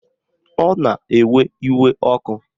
Ọ na-ewe iwe ọkụ